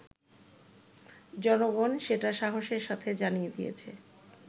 জনগণ সেটা সাহসের সাথে জানিয়ে দিয়েছে